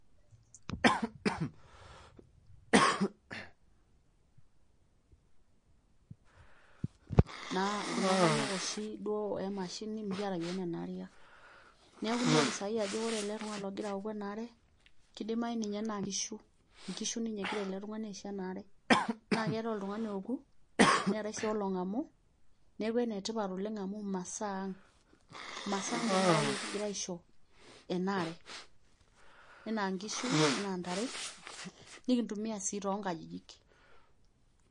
silence Naa kuna kariak ooshi duo emashini mekiata iyiok nena kariak. Niaku inepu saa hii aajo oore ele tung'ano ogira aoku eena are, keidimau ninye naa inkishu ninye egira eele tung'ani aisho ena aare. Naa keetae oltung'ani ooku, neetae sii olong'amu niaku enetipat oleng amuu imasaa ang'. Imasaa ang' tenakata iyiok kigira aisho enaare, enaa inkishu, enaa intare, nekintumia sii toonkajijik.